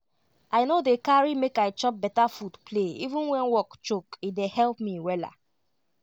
i no dey carry make i chop beta food play even when work choke e dey help me wella